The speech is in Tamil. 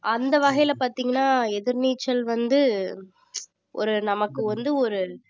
அந்த வகையில பாத்தீங்கன்னா எதிர்நீச்சல் வந்து ஒரு நமக்கு வந்து ஒரு